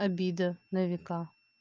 обида на века